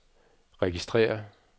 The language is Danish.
registrér